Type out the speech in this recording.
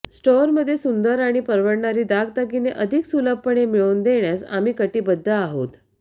store मध्ये सुंदर आणि परवडणारी दागदागिने अधिक सुलभपणे मिळवून देण्यास आम्ही कटिबद्ध आहोत